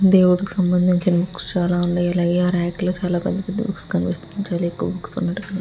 దేవుడుకి సంబంధించిన బుక్స్ చాల వున్నాయ్ అలాగే ఆ రాక్ లో చాల పెద్ద పెద్ద బుక్స్ కనిపిస్తున్నాయి చాల ఎక్కువ బుక్స్ ఉన్నట్టు కని --